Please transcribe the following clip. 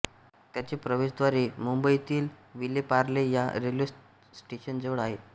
त्याचे प्रवेशद्वार मुंबईतील विलेपार्ले या रेल्वे स्टेशनजवळ आहे